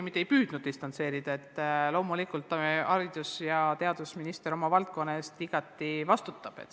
Ma ei püüdnud end distantseerida – loomulikult haridus- ja teadusminister vastutab oma valdkonna eest igati.